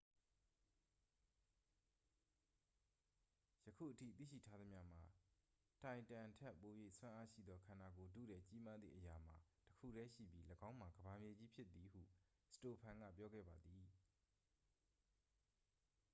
ယခုအထိသိရှိထားသမျှမှာ တိုင်တမ်ထက် ပို၍စွမ်းအားရှိသော ခန္ဓာကိုယ်ထုထည်ကြီးမားသည့်အရာမှာ တစ်ခုတည်းရှိပြီး ၎င်းမှာ ကမ္ဘာမြေကြီးဖြစ်သည် ဟု စတိုဖန် က ပြောခဲ့ပါသည်